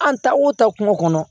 An ta wo ta kungo kɔnɔ